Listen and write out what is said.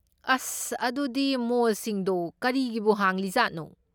ꯑꯁ! ꯑꯗꯨꯗꯤ ꯃꯣꯜꯁꯤꯡꯗꯣ ꯀꯔꯤꯒꯤꯕꯨ ꯍꯥꯡꯂꯤꯖꯥꯠꯅꯣ?